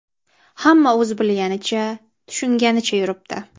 Hamma o‘z bilganicha, tushunganicha yuribdi.